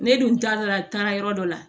Ne dun taara taara yɔrɔ dɔ la